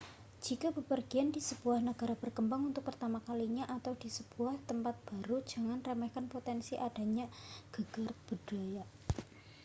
jika bepergian di sebuah negara berkembang untuk pertama kalinya â€ atau di sebuah tempat baru â€ jangan remehkan potensi adanya gegar budaya